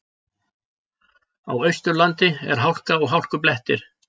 Á Austurlandi er hálka og hálkublettir